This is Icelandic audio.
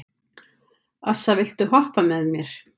Assa, viltu hoppa með mér?